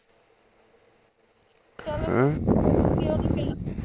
ਹੈਂ